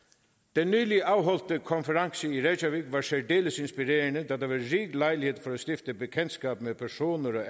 den nyligt afholdte konference i reykjavík var særdeles inspirerende da der var rig lejlighed til at stifte bekendtskab med personer